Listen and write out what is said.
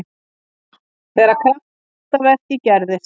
Þegar kraftaverkið gerðist.